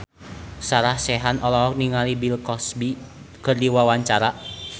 Sarah Sechan olohok ningali Bill Cosby keur diwawancara